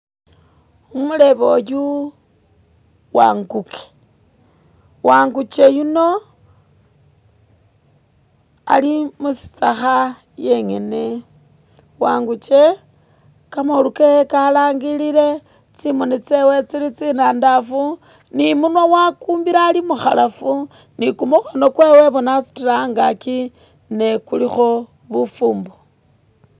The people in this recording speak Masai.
Umulebe uyu wanguke, wangukye yuno ali mushitsakha yene ,wangukye kamoolu kewe ka langilile tsimoni tsewe tsili tsinandafu ni umwana wakumbile ali mukhalafu, ni kumukhono kwewe wasutile angakyi ne kulikho bufumbo.